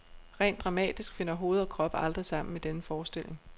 Rent dramatisk finder hoved og krop aldrig sammen i denne forestilling.